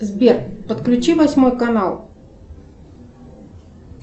сбер подключи восьмой канал